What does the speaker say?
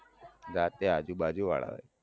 જાતે આજુબાજુવાળાઓ એ